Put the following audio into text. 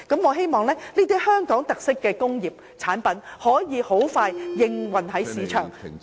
我希望這類具香港特色的產品可以盡快在市場上出現......